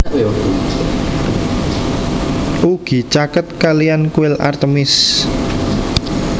Ugi caket kaliyan kuil Artemis